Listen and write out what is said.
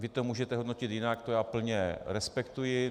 Vy to můžete hodnotit jinak, to já plně respektuji.